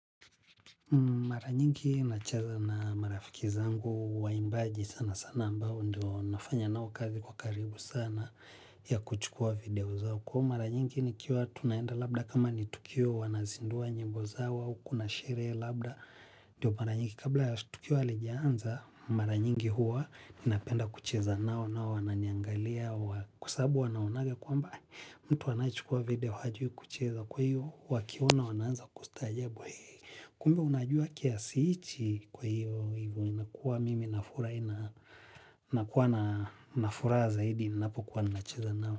Mara nyingi nacheza na marafiki zangu waimbaji sana sana ambao ndo nafanya nao kazi kwa karibu sana ya kuchukua video zao. Kwa mara nyingi nikiwa tunaenda labda kama ni tukio wanazindua nyimbo zao au kuna sheree labda. Ndiyo mara nyingi kabla tukio alijiaanza. Mara nyingi huwa ninapenda kucheza nao nao wananiangalia. Kwasabu wanaonanga kwamba mtu wanaichukua video hajui kucheza. Kwa hiyo wakiona wananza kustajabu. Kumbe unajua kiasi ichi kwa hivyo, hivyo inakuwa mimi nafura, inakuwa na nafura zaidi, inapokuwa na nacheza nao.